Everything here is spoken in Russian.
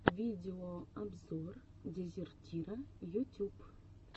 видеообзор дезертира ютюб